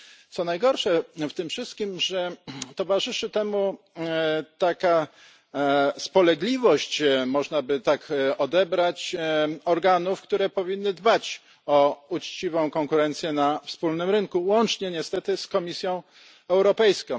Co najgorsze w tym wszystkim, że towarzyszy temu taka spolegliwość, można by to tak odebrać, organów, które powinny dbać o uczciwą konkurencję na wspólnym rynku, łącznie niestety z Komisją Europejską.